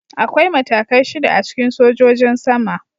Akwai matakai shida a cikin sojojin sama.